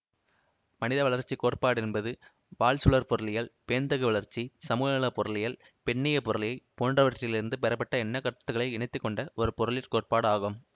மனித வளர்ச்சி கோட்பாடு என்பது வாழ்சூழற் பொருளியல் பேண்தகு வளர்ச்சி சமூக நல பொருளியல் பெண்ணியப் பொருளியல் போன்றவற்றிலிருந்து பெறப்பட்ட எண்ணக்கருத்துக்களை இணைத்துக்கொண்ட ஒரு பொருளிற் கோட்பாடு ஆகும்